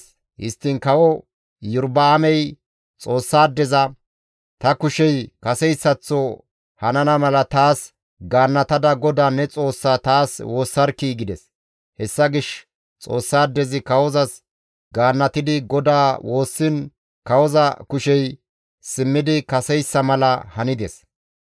Histtiin kawo Iyorba7aamey Xoossaadeza, «Ta kushey kaseyssaththo hanana mala taas gaannatada GODAA ne Xoossaa taas woossarkkii!» gides. Hessa gishshas Xoossaadezi kawozas gaannatidi GODAA woossiin kawoza kushey simmidi kaseyssa mala hanides.